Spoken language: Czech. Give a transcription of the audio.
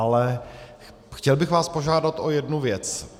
Ale chtěl bych vás požádat o jednu věc.